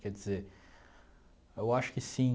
Quer dizer, eu acho que sim.